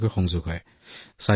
দূৰৱৰ্তী ঠাইৰ লোকৰ সৈতে